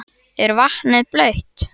Er vatnið blautt?